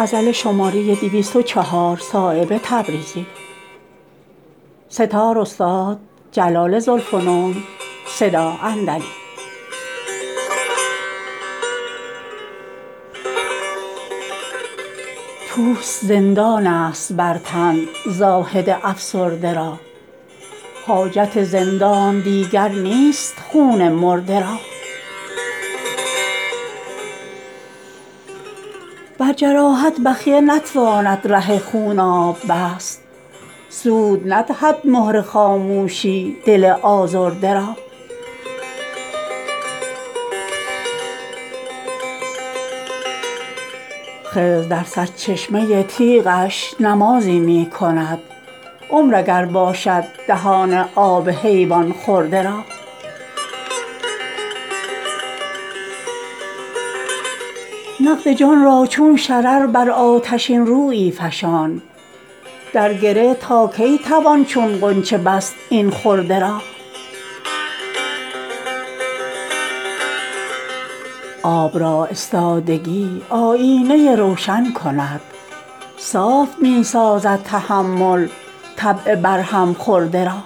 پوست زندان است بر تن زاهد افسرده را حاجت زندان دیگر نیست خون مرده را بر جراحت بخیه نتواند ره خوناب بست سود ندهد مهر خاموشی دل آزرده را خضر در سرچشمه تیغش نمازی می کند عمر اگر باشد دهان آب حیوان خورده را نقد جان را چون شرر بر آتشین رویی فشان در گره تا کی توان چون غنچه بست این خرده را آب را استادگی آیینه روشن کند صاف می سازد تحمل طبع بر هم خورده را